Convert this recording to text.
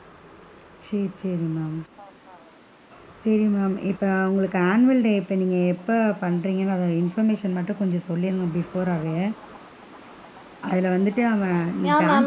சேரி sorry ma'am sorry ma'am இப்ப உங்களுக்கு annual day எப்ப நீங்க இப்ப எப்ப பன்றிங்களோ அதோட information மட்டும் சொல்லிடுங்க before ராவே அதுல வந்துட்டு அவன்,